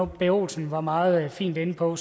b olsen var meget fint inde på